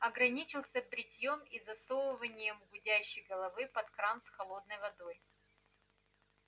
ограничился бритьём и засовыванием гудящей головы под кран с холодной водой